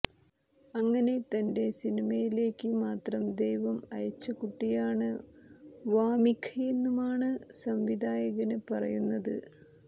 അങ്ങനെ തന്റെ സിനിമയിലേക്ക് മാത്രം ദൈവം അയച്ച് കുട്ടിയാണ് വാമിഖയെന്നുമാണ് സംവിധായകന് പറയുന്നത്